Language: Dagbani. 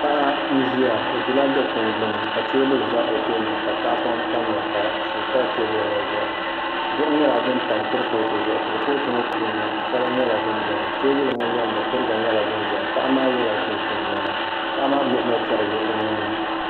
Paɣa n ʒiya o ʒiya dikpuni gbuni ka teebuli ʒɛ o tooni ka tahapoŋ tamya ka suu pa teebuli ŋo zuɣu duɣu nyɛla din tam kurifooti ŋo zuɣu kurifooti ŋo puuni sala n bɛ dinni teebuli ŋo loŋni kuriga nyɛla din ʒɛya paɣa maa yɛla chinchin niɛma paɣa maa gbubila chɛrigi o nuuni